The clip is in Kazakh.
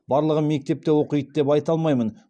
барлығы мектепте оқиды деп айта алмаймын